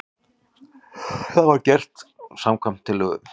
Þetta var gert samkvæmt tillögu